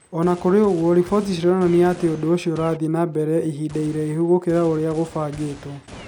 O na kũrĩ ũguo, riboti cionanagia atĩ ũndũ ũcio nĩ ũrathiĩ na mbere ihinda iraihu gũkĩra ũrĩa kũbangĩtwo.